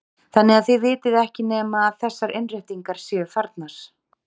Þannig að þið vitið ekki nema að þessar innréttingar séu farnar?